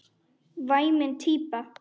Væmin típa.